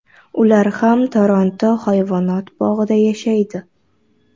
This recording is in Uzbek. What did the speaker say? Ular ham Toronto hayvonot bog‘ida yashaydi.